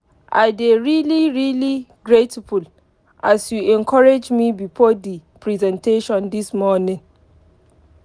i dey really really grateful as you encourage me before the presentation this morning.